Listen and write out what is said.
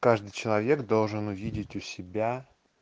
каждый человек должен увидеть у себя